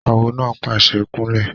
Awo náà pàṣẹ "kún lẹ̀!"